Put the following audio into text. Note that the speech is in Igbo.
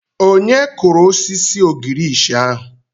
Onye kụrụ osisi ogirisi ahụ?